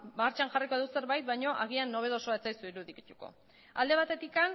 martxan jarriko dugu zerbait baino agian nobedosoa ez zaizue irudituko alde batetik